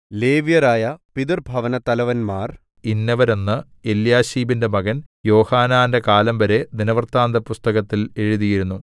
ലേവ്യരായ പിതൃഭവനത്തലവന്മാർ ഇന്നവരെന്ന് എല്യാശീബിന്റെ മകൻ യോഹാനാന്റെ കാലം വരെ ദിനവൃത്താന്തപുസ്തകത്തിൽ എഴുതിയിരുന്നു